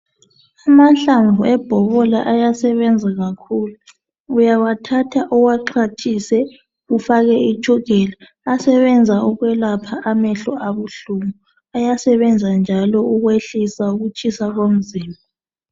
Amahlamvu ebhobola ayasebenza kakhulu uyawathatha iwaxwathise ufake itshukela ayasebenzisa ukwelapha amehlo abuhlungu ayasebenza njalo ukwehlisa ukutshisa komzimba.